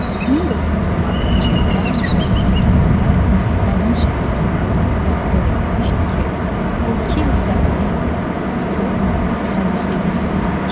1916-cı ildə, mayın 8-də həmin şəhadətnamə Fərhada verilmişdi ki, o Kiyev Sənaye İnstitutunda oxuyub mühəndislik diplomu almışdı.